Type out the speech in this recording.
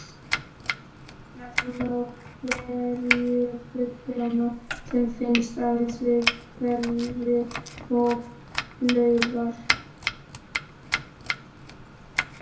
Nefna má hverafluguna sem finnst aðeins við hveri og laugar.